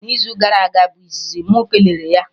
Na izu gara aga bụ izizi mụ kelere ya